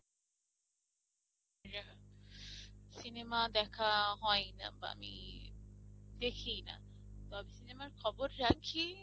আর আহ cinema দেখা হয়ই না বা আমি দেখিই না তবে cinema র খবর রাখি